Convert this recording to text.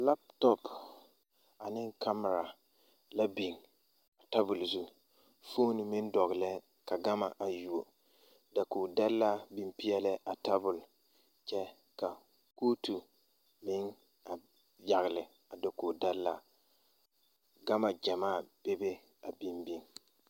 Laptɔp ane kamira la biŋ tabole zu foone meŋ dɔglɛɛ ka gama a yuo dakoge dɛlaa biŋ peɛɛlɛɛ a tabole kyɛ ka kootu meŋ a yagle a dokoge dɛlaaŋ gama gyamaa bebe a biŋ biŋ.